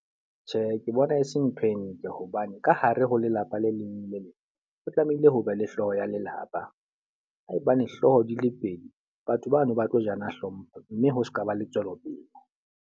Tjhe, ke bona e se ntho e ntle. Hobane ka hare ho lelapa le leng le leng o tlamehile ho be le hlooho ya lelapa. Haebane hlooho di le pedi, batho bano ba tlo jana hlompho mme ho sekaba le tswelopele.